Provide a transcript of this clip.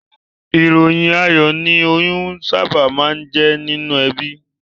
Ìròyìn ayọ̀ ni oyún sábà máa ń jẹ́ nínú ẹbí